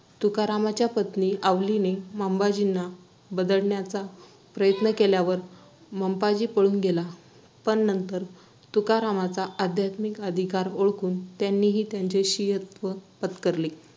तुकारामांच्या पत्नी आवलीने मंबाजींना बदडण्याचा प्रयत्न केल्यावर मंबाजी पळून गेला. पण नंतर तुकारामांचा आध्यात्मिक अधिकार ओळखून त्यानेही त्यांचे